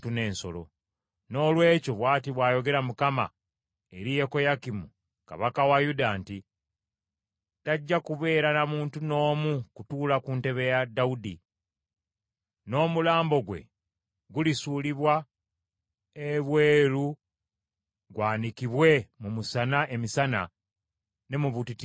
Noolwekyo bw’ati bw’ayogera Mukama eri Yekoyakimu kabaka wa Yuda nti, Tajja kubeera na muntu n’omu kutuula ku ntebe ya Dawudi, n’omulambo gwe gulisuulibwa ebweru gwanikibwe mu musana emisana ne mu butiti ekiro.